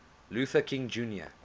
luther king jr